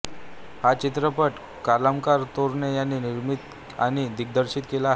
हा चित्रपट कमलाकर तोरणे यांनी निर्मित आणि दिग्दर्शित केला आहे